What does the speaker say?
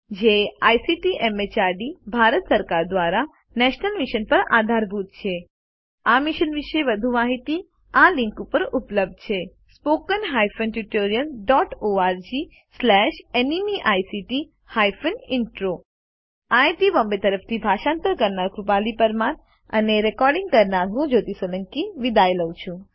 જે ICT MHRD Bharat સરકાર દ્વારા શિક્ષણ પર નેશનલ મિશન દ્વારા આધારભૂત છે આ મિશન વિશે વધુ માહીતી આ લીંક ઉપર ઉપલબ્ધ છે httpspoken tutorialorgNMEICT Intro IIT Bombay તરફથી ભાષાંતર કરનાર હું કૃપાલી પરમાર વિદાય લઉં છું